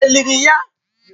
È liri ya?